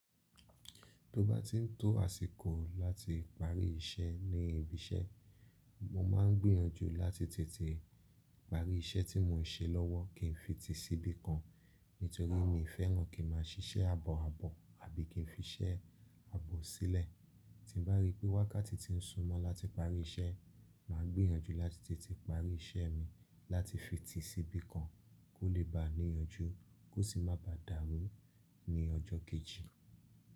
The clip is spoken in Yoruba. Tó bá ti ń tó àsìkò láti parí iṣẹ́ ní ibi iṣẹ́, mo máa ń gbìyànjú láti tètè parí iṣẹ́ tí mo ń ṣe lọ́wọ́ kí n fi ti síbí kan. Nítorí mi ò fẹ́ràn kí n má a ṣiṣẹ́ àbọ̀-àbọ̀ àbí kí n fi iṣẹ́ àbọ sílẹ̀. Tí n bá rí pé wákàtí ti ń súmọ́ láti parí iṣẹ́, mà á gbìyànjú láti tètè parí iṣẹ́ mi láti fi ti síbí kan kó lè ba níyanjú kó sì má ba dàrú ní ọjọ́ kejì.